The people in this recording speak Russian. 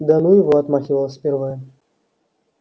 да ну его отмахивалась первая